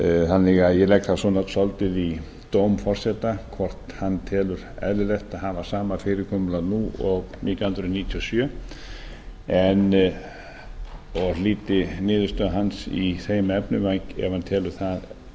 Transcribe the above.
þannig að ég legg það svolítið í dóm forseta hvort hann telur eðlilegt að hafa sama fyrirkomulag og nítján hundruð níutíu og sjö og hlíti niðurstöðu hans í þeim efnum ef hann telur það